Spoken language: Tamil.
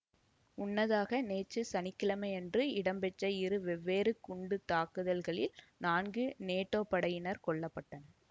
முன்னதாக நேற்று சனி கிழமையன்று இடம்பெற்ற இரு வெவ்வேறு குண்டு தாக்குதல்களில் நான்கு நேட்டோ படையினர் கொல்ல பட்டனர்